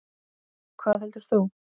Hvað heldur þú?